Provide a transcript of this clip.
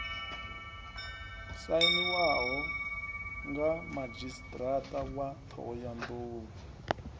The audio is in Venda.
sainiwaho mga madzhisiṱiraṱa wa ṱhohoyanḓou